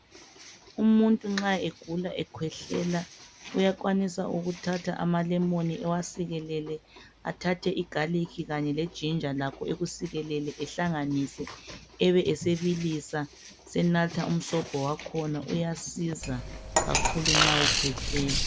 Umuntu nxa egula ekhwehlela uyakwanisa ukuthatha ama lemon ewasikelele athathe I ginger kanye le garlic lakho akusikelele ehlanganise ebe esebilisa senatha umsobho wakhona uyasiza kakhulu nxa ekhwehlela.